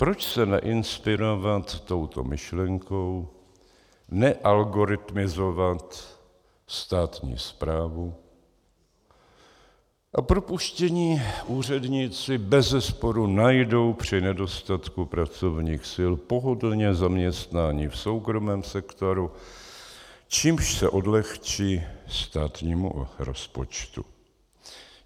Proč se neinspirovat touto myšlenkou, nealgoritmizovat státní správu, a propuštění úředníci beze sporu najdou při nedostatku pracovních sil pohodlně zaměstnání v soukromém sektoru, čímž se odlehčí státnímu rozpočtu.